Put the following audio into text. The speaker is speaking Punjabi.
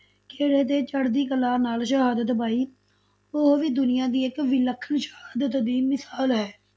ਖੇੜੇ ਤੇ ਚੜ੍ਹਦੀ ਕਲਾ ਨਾਲ ਸ਼ਹਾਦਤ ਪਾਈ, ਉਹ ਵੀ ਦੁਨੀਆਂ ਦੀ ਇੱਕ ਵਿਲੱਖਣ ਸ਼ਹਾਦਤ ਦੀ ਮਿਸ਼ਾਲ ਹੈ।